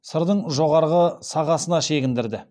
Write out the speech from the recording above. сырдың жоғарғы сапасына шегіндірді